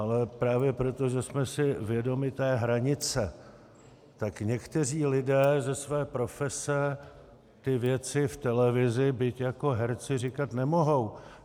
Ale právě proto, že jsme si vědomi té hranice, tak někteří lidé ze své profese ty věci v televizi, byť jako herci, říkat nemohou.